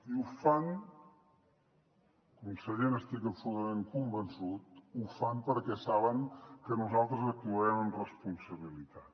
i ho fan conseller n’estic absolutament convençut perquè saben que nosaltres actuarem amb responsabilitat